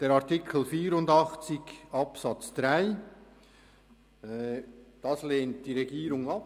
Den Antrag zu Artikel 84 Absatz 3 lehnt die Regierung ab.